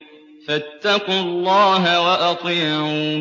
فَاتَّقُوا اللَّهَ وَأَطِيعُونِ